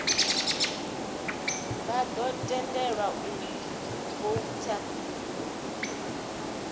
vha ḓo tendelwa u voutha